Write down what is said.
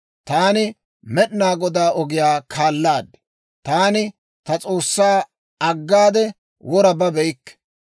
Taani Med'inaa Godaa ogiyaa kaalaad; taani ta S'oossaa aggade wora babeykke.